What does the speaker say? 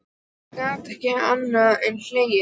Ég gat ekki annað en hlegið.